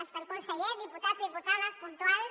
està el conseller diputats diputades puntuals